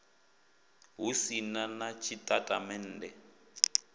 hu si na na tshitatamennde